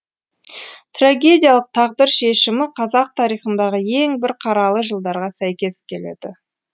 трагедиялық тағдыр шешімі қазақ тарихындағы ең бір қаралы жылдарға сәйкес келеді